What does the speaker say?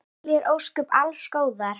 Ítalíu er óskað alls góðs.